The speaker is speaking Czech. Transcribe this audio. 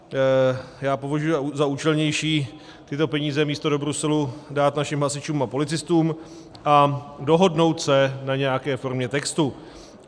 Já považuji za účelnější tyto peníze místo do Bruselu dát našim hasičům a policistům a dohodnout se na nějaké formě textu.